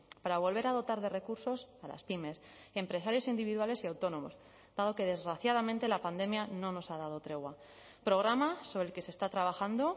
para volver a dotar de recursos a las pymes empresarios individuales y autónomos dado que desgraciadamente la pandemia no nos ha dado tregua programa sobre el que se está trabajando